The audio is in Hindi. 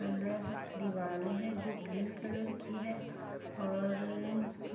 अंदर दीवाले हैं जो ग्रीन कलर की है और